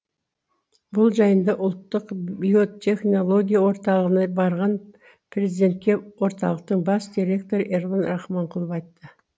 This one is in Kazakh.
бұл жайында ұлттық биотехнология орталығына барған президентке орталықтың бас директоры ерлан рахманқұлов айтты